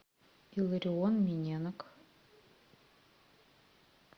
илларион миненок